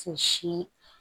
Si